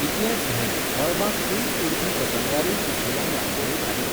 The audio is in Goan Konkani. इतलेंच न्हय, मळबांत ऊंच उडपी पतंगांरूय सुशीलान रांगोळ्यो घाल्यो.